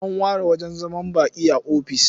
An ware wajen zaman baƙi a ofis.